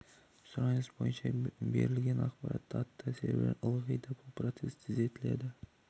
сұраныс бойынша берілген ақпаратты аттар серверлері ылғи да бұл процесс тездетіледі